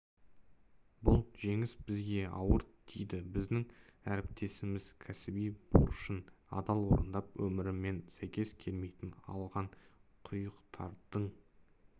бұл жеңіс бізге ауыр тиді біздің әріптесіміз кәсіби борышын адал орындап өмірімен сәйкес келмейтін алған күйіктердің